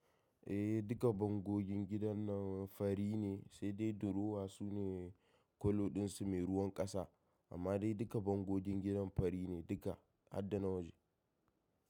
Eh duka bangogin gidan nan fari ne, sai dai durowa su ne kalloɗin su mai ruwan ƙasa. Amma dai duka bangogin gidan fari ne duka harda na waje.